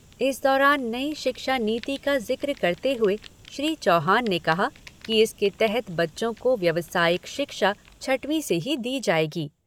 इस दौरान नई शिक्षा नीति का ज़िक्र करते हुए श्री चौहान ने कहा कि इसके तहत बच्चों को व्यवसायिक शिक्षा छठी से ही दी जाएगी।